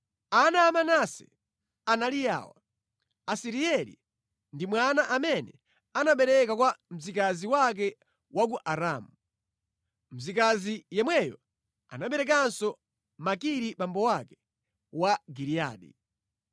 Ana a Manase anali awa: Asirieli ndi mwana amene anabereka kwa mzikazi wake wa ku Aramu. Mzikazi yemweyo anaberekanso Makiri abambo ake a Giliyadi.